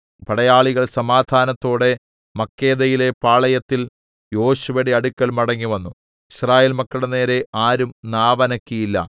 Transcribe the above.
പടയാളികൾ സമാധാനത്തോടെ മക്കേദയിലെ പാളയത്തിൽ യോശുവയുടെ അടുക്കൽ മടങ്ങിവന്നു യിസ്രായേൽ മക്കളുടെ നേരെ ആരും നാവനക്കിയില്ല